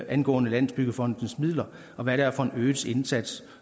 angående landsbyggefondens midler og hvad det er for en øget indsats